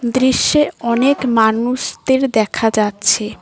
দৃশ্যে অনেক মানুষদের দেখা যাচ্ছে।